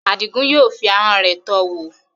Adigun yóò fi ahọ́n rẹ̀ tọ́ ọ wò.